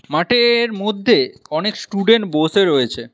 মাঠের মধ্যে অনেক স্টুডেন্ট বসে রয়েছে।